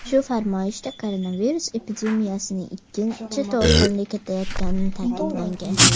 Shu farmoyishda koronavirus epidemiyasining ikkinchi to‘lqini ketayotgani ta’kidlangan .